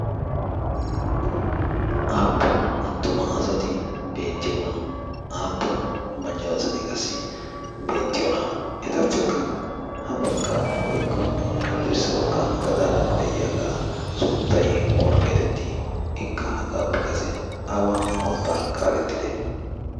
aapun attuma asati beetiyona? aappun macca asasti beettiyona? etappe gaxaara woykko hadirssa bagaara eqqidaga suntay oona geetettii? ikka hagaappe kase awa mootaa kaaletidee?